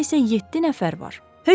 Otaqda isə yeddi nəfər var.